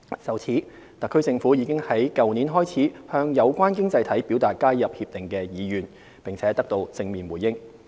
就此，特區政府已於去年開始向有關經濟體表達加入《協定》的意願，並得到正面回應。